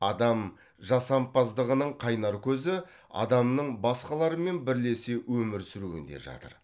адам жасампаздығының қайнар көзі адамның басқалармен бірлесе өмір сүруінде жатыр